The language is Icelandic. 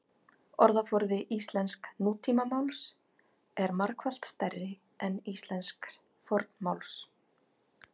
orðaforði íslensks nútímamáls er margfalt stærri en íslensks fornmáls